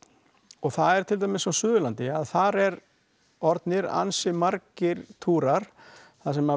og það er tildæmis á Suðurlandi að þar eru orðnir ansi margir túrar þar sem